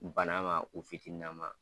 Bana ma u fitini nama.